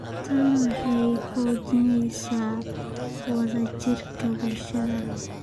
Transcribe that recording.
Tani waxay xoojinaysaa wada jirka bulshada.